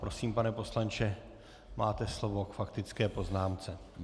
Prosím, pane poslanče, máte slovo k faktické poznámce.